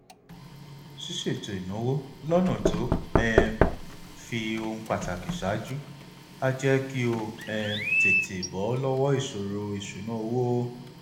ṣíṣètò ìnáwó lọnà tó um fi ohun pàtàkì ṣáájú á jẹ kó o um tètè bọ lọwọ ìṣòro ìṣúnná owó